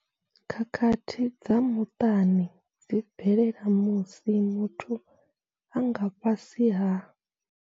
Khakhathi dza muṱani dzi bvelela musi muthu a nga fhasi ha.